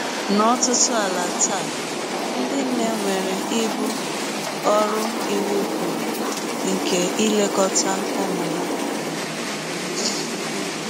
N’ọtụtụ ala taa, ndị nne nwere ibu ọrụ iwụ kwụrụ nke ilekọta ụmụ ha.